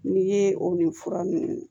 N'i ye o ni fura nunnu